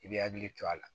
I b'i hakili to a la